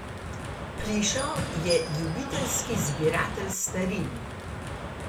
Plišo je ljubiteljski zbiratelj starin.